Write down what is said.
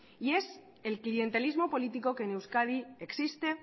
y es el clientelismos político que en euskadi existe